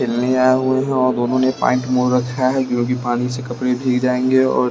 हुई हैं और दोनों ने पैंट मोड़ रखा है क्योंकि पानी से कपड़े भीग जाएंगे और--